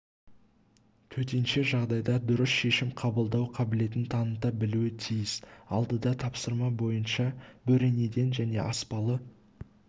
төтенше жағдайда дұрыс шешім қабылдау қабілетін таныта білуі тиіс алдыда тапсырма бойынша бөренеден және аспалы